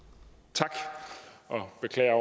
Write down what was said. tak og jeg beklager